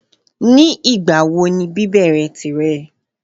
Ní ìgbàwo ni bíbèrè tìre?